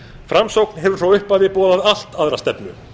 framsókn hefur frá upphafi boðað allt aðra stefnu